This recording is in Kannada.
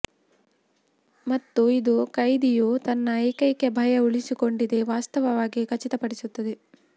ಮತ್ತು ಇದು ಕೈದಿಯು ತನ್ನ ಏಕೈಕ ಭಯ ಉಳಿಸಿಕೊಂಡಿದೆ ವಾಸ್ತವವಾಗಿ ಖಚಿತಪಡಿಸುತ್ತದೆ